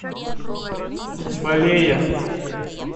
балея